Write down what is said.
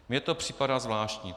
Mně to připadá zvláštní.